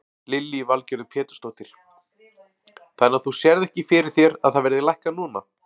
Lillý Valgerður Pétursdóttir: Þannig að þú sérð ekki fyrir þér að það verði lækkað núna?